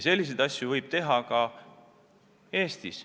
Selliseid asju võib teha ka Eestis.